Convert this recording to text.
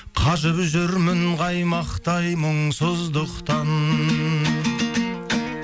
қажып жүрмін қаймақтай мұңсыздықтан